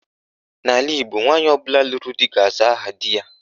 N' ala Igbo, nwaanyị ọbụla lụrụ di ga-aza aha di ya.